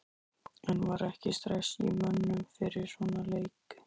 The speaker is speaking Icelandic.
En var ekki stress í mönnum fyrir svona leik?